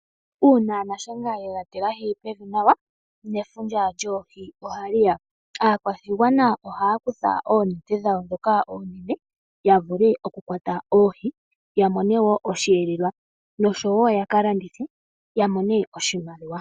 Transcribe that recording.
Uuna nashenga ye ga tilahi pevi nawa, nefundja lyoohi oha li ya. Aakwashigwana ohaya kutha oonete dhawo ndhoka oonene ya vule okukwata oohi ya mone wo osheelelwa, nosho wo ya ka landithe ya mone oshimaliwa.